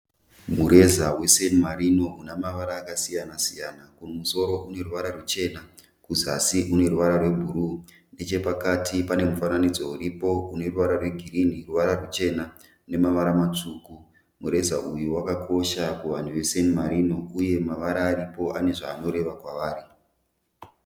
Mureza weSan Marino una mavara akasiyana siyana. Kumusoro une ruvara ruchena kuzasi une ruvara rwebhuruu. Nechepakati pane mufananidzo uripo une ruvara rwegirini, ruvara ruchena nemavara matsvuku. Mureza uyu wakakosha kuvanhu veSan Marino uye mavara aripo ane zvaanoreva kwavari.